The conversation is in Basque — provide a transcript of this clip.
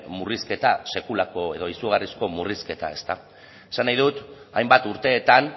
murrizketa sekulako edo izugarrizko murrizketa esan nahi dut hainbat urteetan